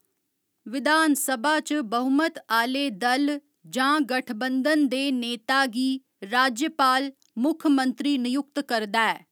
विधानसभा च बहुमत आह्‌ले दल जां गठबंधन दे नेता गी राज्यपाल मुक्खमंत्री नयुक्त करदा ऐ।